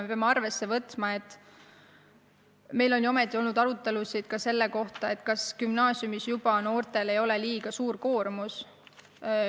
Me peame arvesse võtma, et meil on olnud arutelusid ka selle üle, ega noortel ei ole gümnaasiumis liiga suur koormus.